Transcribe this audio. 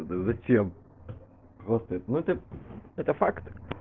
да зачем просто ну это это факт